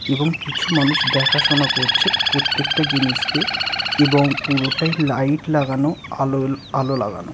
এবং কিছু মানুষ দেখাশোনা করছে প্রত্যেকটা জিনিসকে এবং পুরোটাই লাইট লাগানো আলো আলো লাগানো।